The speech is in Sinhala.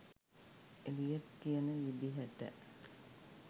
එලියට් කියන විදිහට